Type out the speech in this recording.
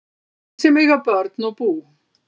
Þeir sem eiga börn og bú